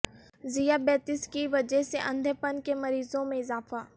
ذیابیطس کی وجہ سے اندھے پن کے مریضوں میں اضافہ